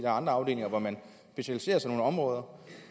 andre afdelinger hvor man specialiserer sig områder